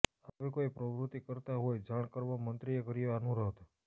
આવી કોઈ પ્રવૃતિ કરતાં હોય જાણ કરવા મંત્રીએ કર્યો અનુરોધ